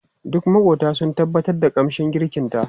Duk makwabta sun tabbatar da kamshin girkinta.